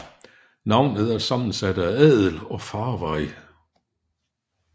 Navnet er sammensat af adel og farvej